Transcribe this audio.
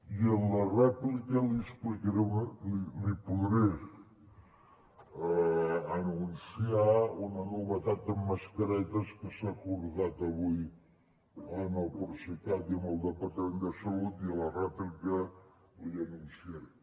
i en la rèplica li explicaré li podré anunciar una novetat en mascaretes que s’ha acordat avui amb el procicat i amb el departament de salut i a la rèplica l’hi anunciaré